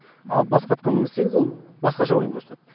ал басқа атқа мінгізсеңіз ол басқаша ойын көрсетеді